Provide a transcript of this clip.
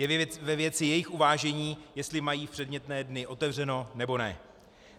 Je ve věci jejich uvážení, jestli mají v předmětné dny otevřeno, nebo ne.